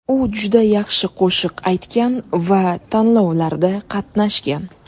U juda yaxshi qo‘shiq aytgan va tanlovlarda qatnashgan.